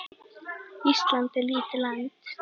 Ísland er lítið land.